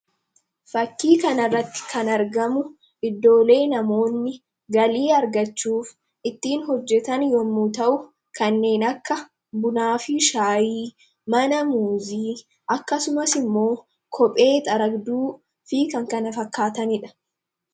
fakkii kanarratti kan argamu iddoolee namoonni galii argachuuf ittiin hojjetan yommu ta'u kanneen akka bunaafi shaayii mana muuzii akkasumas immoo kophee xaragduu fi kan kana fakkaataniidha.